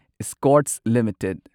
Escorts limited